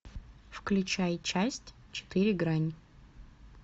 включай часть четыре грань